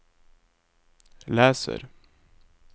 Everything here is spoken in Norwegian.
leser